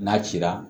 N'a cira